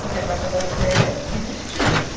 Porque a Praça da Sé existia.